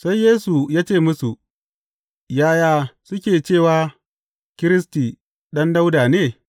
Sai Yesu ya ce musu, Yaya suke cewa, Kiristi ɗan Dawuda ne?’